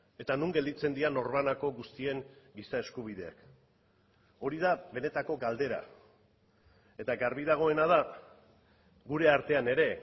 eta non gelditzen dira norbanako guztien giza eskubideak hori da benetako galdera eta garbi dagoena da gure artean ere